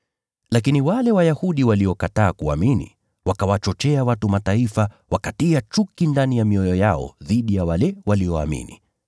Lakini wale Wayahudi waliokataa kuamini, wakawachochea watu wa Mataifa, wakatia chuki ndani ya mioyo yao dhidi ya wale walioamini.